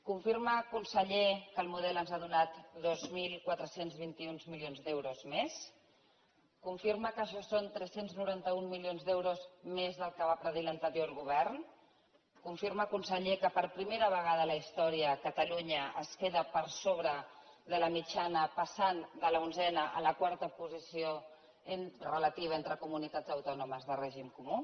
confirma conseller que el model ens ha donat dos mil quatre cents i vint un milions d’euros més confirma que això són tres cents i noranta un milions d’euros més del que va predir l’anterior govern confirma conseller que per primera vegada a la història catalunya es queda per sobre de la mitjana en passar de l’onzena a la quarta posició relativa entre comunitats autònomes de règim comú